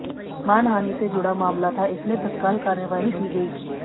मानहानि से जुड़ा मामला था इसलिए तत्काल कार्रवाई की गई